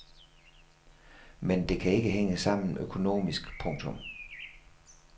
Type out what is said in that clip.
Men det kan ikke hænge sammen økonomisk. punktum